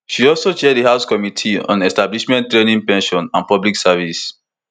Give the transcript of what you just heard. she also chair di house committee on establishment training pension and public service